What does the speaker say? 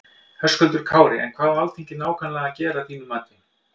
Höskuldur Kári: En hvað á Alþingi nákvæmlega að gera að þínum mati?